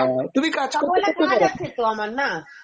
তুমি কাজ করতে করতে বলো, ধ্যাত সকাল বেলা কাজ আছে তো আমার না